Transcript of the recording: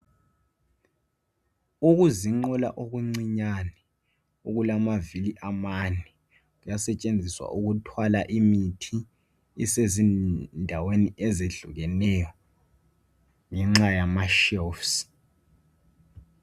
Okuzinqola okuncane okulamavili amane kuyasetshenziswa ukuthwala imithi ndawonye ezehlukeneyo ngenxa yamashelufu.